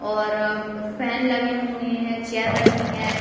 और फैन लगे हुए हैं। चेयर रखी हैं।